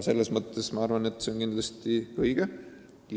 See kõik on kindlasti õige.